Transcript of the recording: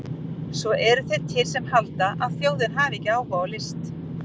Svo eru þeir til sem halda að þjóðin hafi ekki áhuga á list!